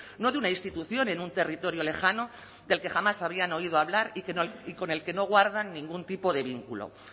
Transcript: no de una institución en un territorio lejano del que jamás habían oído hablar y con el que no guardan ningún tipo de vínculo